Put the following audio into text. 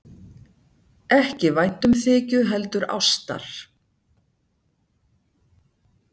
Ekki væntumþykju heldur ástar.